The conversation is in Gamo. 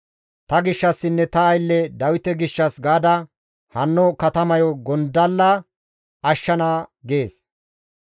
Ta gishshassinne ta aylle Dawite gishshas gaada hanno katamayo tani gondalla ashshana› gees.»